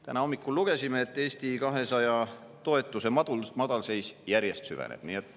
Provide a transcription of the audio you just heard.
Täna hommikul lugesime, et Eesti 200 toetuse madalseis järjest süveneb.